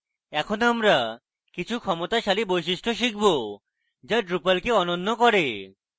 এখন আমরা কিছু ক্ষমতাশালী বৈশিষ্ট্য শিখব যা drupal কে অনন্য করে